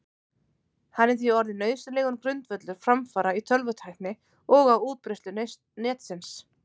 Hann er því orðinn nauðsynlegur grundvöllur framfara í tölvutækni og á útbreiðslu Netsins.